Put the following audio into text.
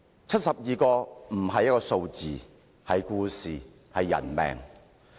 七十二人並非一個數字，而是故事，更是人命。